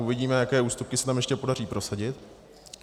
Uvidíme, jaké ústupky se tam ještě podaří prosadit.